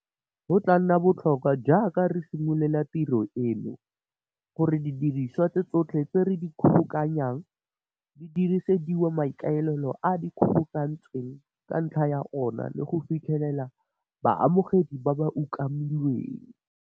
Go tla nna botlhokwa, jaaka re simolola tiro eno, gore didiriswa tsotlhe tse re di kgobokanyang di diresediwa maikaelelo ao di kgobokantsweng ka ntlha ya ona le go fitlhelela baamogedi ba ba umakilweng.